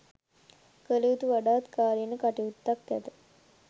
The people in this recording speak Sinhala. කල යුතු වඩාත් කාලීන කටයුත්තක් ඇත.